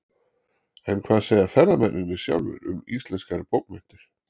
En hvað segja ferðamennirnir sjálfir um íslenskar bókmenntir?